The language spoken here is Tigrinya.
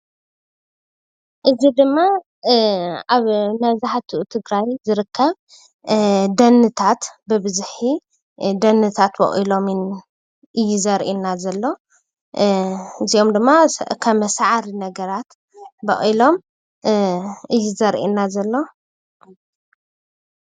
እዚ ምስሊ ኣብ ኣብ ትግራይ ይኩን ኣብ ካሊእ ከባቢ ዝረከብ ደኒ ኮይኑ ንቀለብ እንስሳ ወይ ገዛ መስርሒ ዝውዕል ሳዕሪ ይበሃል።